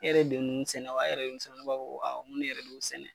E yɛrɛ de ye ninnu sɛnɛ wa e yɛrɛ de ye ninnu sɛnɛ wa ne b'a fɔ awɔ n ko ne yɛrɛ de y'u sɛnɛ.